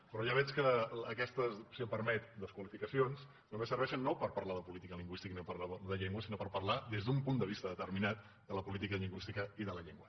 però ja veig que aquestes si em permet desqualificacions només serveixen no per parlar de política lingüística ni parlar de llengua sinó per parlar des d’un punt de vista determinat de la política lingüística i de la llengua